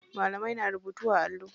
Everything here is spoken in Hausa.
Malamai na rubutu a allo.